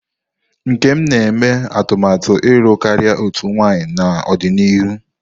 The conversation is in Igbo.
Nkem na-eme atụmatụ ịlụ karịa otu nwanyị n'ọdịnihu.